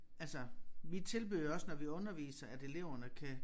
Altså vi tilbyder jo også når vi underviser at eleverne kan